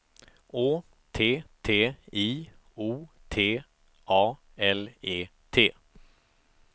Å T T I O T A L E T